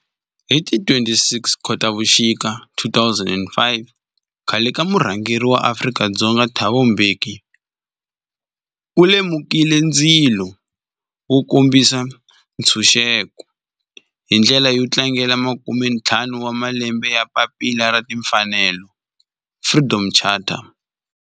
Hi ti 26 Khotavuxika 2005 khale ka murhangeri wa Afrika-Dzonga Thabo Mbeki u lumekile ndzilo wo kombisa ntshuxeko, hi ndlela yo tlangela makumentlhanu wa malembe ya papila ra timfanelo, Freedom Charter.